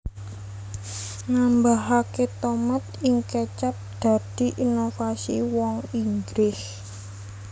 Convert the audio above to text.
Nambahaké tomat ing kecap dadi inovasi wong Inggris